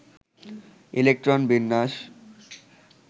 electron বিন্যাস